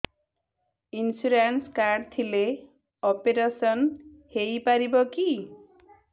insurance card ଥିଲେ operation ହେଇପାରିବ କି